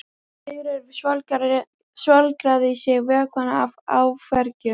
Sigríður svolgraði í sig vökvann af áfergju.